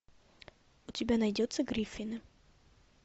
у тебя найдется гриффины